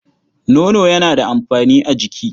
Nono yana da amfani a jiki.